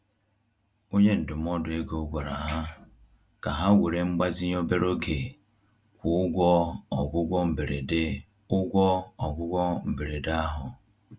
Onye ndụmọdụ ego gwara ha ka ha were mgbazinye obere oge kwụọ ụgwọ ọgwụgwọ mberede ụgwọ ọgwụgwọ mberede ahụ